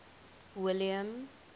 william